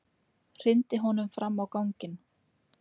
Hrindi honum fram á ganginn.